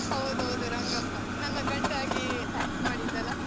ಹೌದೌದು ರಂಗಪ್ಪ, ನನ್ನ ಗಂಡ ಆಗಿ act ಮಾಡಿದ್ದಲ್ಲ?